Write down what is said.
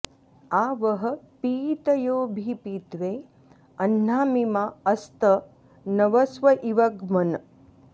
आ वः॑ पी॒तयो॑ऽभिपि॒त्वे अह्ना॑मि॒मा अस्तं॑ नव॒स्व॑ इव ग्मन्